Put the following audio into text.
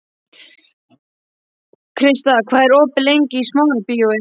Krista, hvað er opið lengi í Smárabíói?